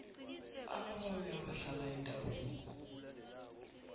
ababawi abahlala eendaweni